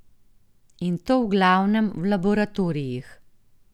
In to v glavnem v laboratorijih.